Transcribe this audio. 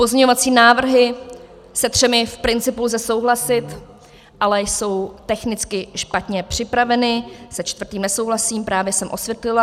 Pozměňovací návrhy - se třemi v principu lze souhlasit, ale jsou technicky špatně připraveny, se čtvrtým nesouhlasím, právě jsem osvětlila.